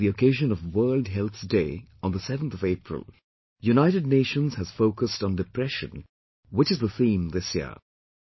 This year on the occasion of World Health Day on the 7th of April, United Nations has focused on Depression, which is the theme this year